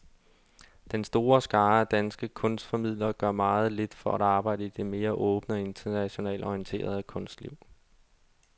Den store skare af danske kunstformidlere gør meget lidt for at arbejde i det mere åbne og internationalt orienterede kunstliv.